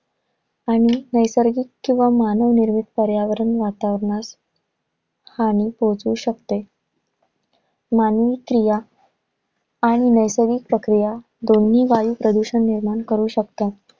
आणि निसर्ग किंवा मानव निर्मित पर्यावरण वातावरणात हानी पोहोचवू शकते. मानवी क्रिया आणि निसर्ग सक्रिया ह्या दोन्ही वायू प्रदूषण निर्माण करू शकतात.